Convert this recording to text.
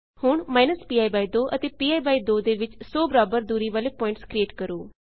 ਹੁਣ minus P by 2 ਅਤੇ P by 2 ਦੇ ਵਿੱਚ 100 ਬਰਾਬਰ ਦੂਰੀ ਵਾਲੇ ਪੁਆਇੰਟਸ ਕਰਿਏਟ ਕਰੋ